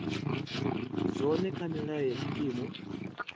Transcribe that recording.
zwone kha milayo ya tshikimu